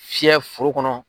Fiyɛ foro kɔnɔ